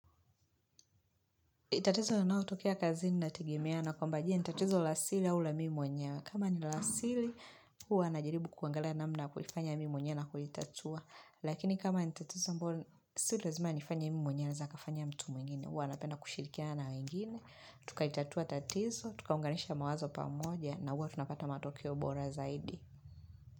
Tatizo linaotokea kazini inategemea na kwamba je, ni tatizo la asili au la mimi mwenyewe. Kama ni la asili, hwa najaribu kuangalia namna ya kuifanya mimi mwenyewe na kulitatua. Lakini kama ni tatizo ambao, si lazima nifanye mimi mwenyewe anaeza kafanya mtu mwingine. Huwu napena kushirikiana na wengine. Tukaitatua tatizo, tukaunganisha mawazo pamoja na huwa tunapata matokeo bora zaidi.